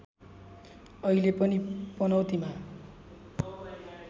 अहिले पनि पनौतीमा